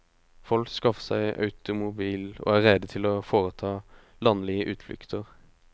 Folk skaffer seg automobil, og er rede til å foreta landlige utflukter.